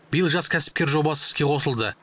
биыл жас кәсіпкер жобасы іске қосылды